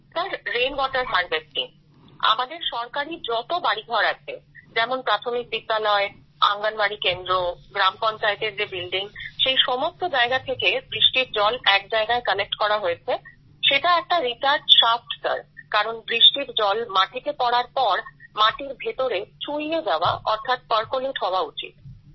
sir রেইনওয়াটের Harvesting আমাদের সরকারি যত বাড়িঘর আছে যেমন প্রাথমিক বিদ্যালয় অঙ্গনওয়াড়ি কেন্দ্র গ্রাম পঞ্চায়েতের যে বিল্ডিং সেই সমস্ত জায়গা থেকে বৃষ্টির জল এক জায়গায় কালেক্ট করা হয়েছে সেটা একটা রিচার্জ শাফ্ট স্যার কারণ বৃষ্টির জল মাটিতে পড়ার পর মাটির ভেতরে চুঁইয়ে যাওয়া অর্থাৎ পারকোলেট হওয়া উচিত